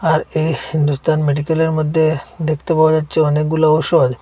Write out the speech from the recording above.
আর এই নুতন মেডিকেলের মধ্যে দেখতে পাওয়া যাচ্ছে অনেকগুলা ঔষধ।